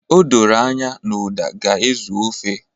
O doro anya na uda ga-ezu ofe